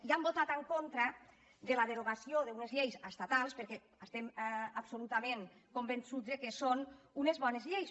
i hem votat en contra de la derogació d’unes lleis estatals perquè estem absolutament convençuts que són unes bones lleis